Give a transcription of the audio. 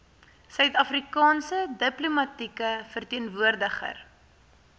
suidafrikaanse diplomatieke verteenwoordiger